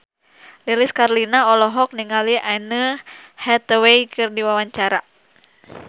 Lilis Karlina olohok ningali Anne Hathaway keur diwawancara